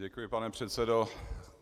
Děkuji, pane předsedo.